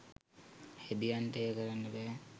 හෙදියන්ට එය කරන්න බැහැ.